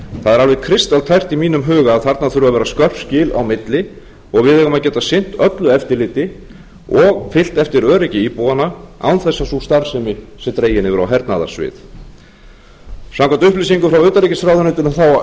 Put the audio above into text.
alveg kristaltært í mínum huga að þarna þurfa að vera skörp skil á milli og við eigum að geta sinnt öllu eftirliti og fylgt eftir öryggi íbúanna án þess að sú starfsemi sé dregin yfir á hernaðarsvið samkvæmt upplýsingum frá utanríkisráðuneytinu á